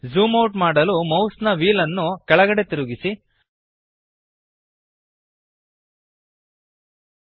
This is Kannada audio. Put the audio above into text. ಝೂಮ್ ಔಟ್ ಮಾಡಲು ಮೌಸ್ನ ವ್ಹೀಲ್ಅನ್ನು ಕೆಳಗಡೆಗೆ ತಿರುಗಿಸಿರಿ